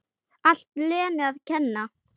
Allt Lenu að kenna!